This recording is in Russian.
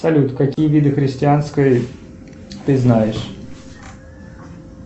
салют какие виды христианской ты знаешь